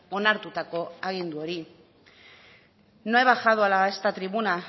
onartutako agindu hori no he bajado a esta tribuna